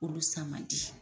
Olu sa man di.